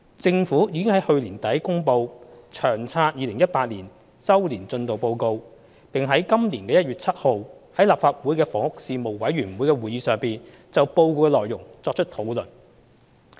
政府已在去年年底公布《長策》2018年周年進度報告，而報告的內容已在今年1月7日的立法會房屋事務委員會會議上作出討論。